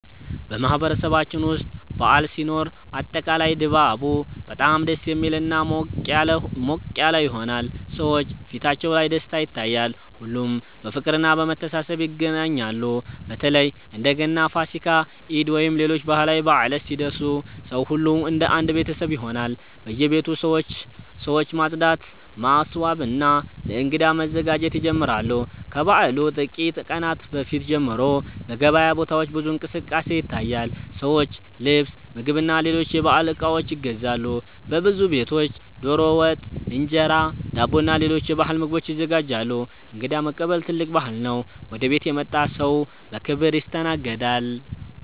በማህበረሰባችን ውስጥ በዓል ሲኖር አጠቃላይ ድባቡ በጣም ደስ የሚልና ሞቅ ያለ ይሆናል። ሰዎች ፊታቸው ላይ ደስታ ይታያል፣ ሁሉም በፍቅርና በመተሳሰብ ይገናኛሉ። በተለይ እንደ ገና፣ ፋሲካ፣ ኢድ ወይም ሌሎች ባህላዊ በዓላት ሲደርሱ ሰው ሁሉ እንደ አንድ ቤተሰብ ይሆናል። በየቤቱ ሰዎች ማጽዳት፣ ማስዋብና ለእንግዳ መዘጋጀት ይጀምራሉ። ከበዓሉ ጥቂት ቀናት በፊት ጀምሮ በገበያ ቦታዎች ብዙ እንቅስቃሴ ይታያል፤ ሰዎች ልብስ፣ ምግብና ሌሎች የበዓል እቃዎች ይገዛሉ። በብዙ ቤቶች ዶሮ ወጥ፣ እንጀራ፣ ዳቦና ሌሎች የባህል ምግቦች ይዘጋጃሉ። እንግዳ መቀበልም ትልቅ ባህል ነው፤ ወደ ቤት የመጣ ሰው በክብር ይስተናገዳል።